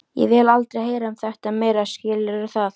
Ég vil aldrei heyra um þetta meira, skilurðu það?